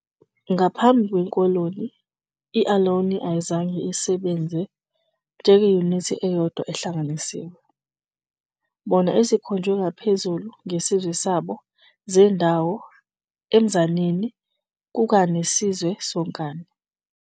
Ngaphambi kwekoloni, i-Ohlone ayizange isebenze njengeyunithi eyodwa ehlanganisiwe, bona ezikhonjwe ngaphezulu nge isizwe sabo zendawo emzaneni kuka ne isizwe sonkana.